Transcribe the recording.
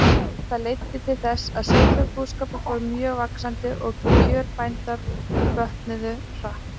Þetta leiddi til þess að sauðfjárbúskapur fór mjög vaxandi, og kjör bænda bötnuðu hratt.